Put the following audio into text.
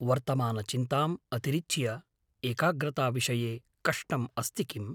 वर्तमानचिन्ताम् अतिरिच्य एकाग्रताविषये कष्टम् अस्ति किम्?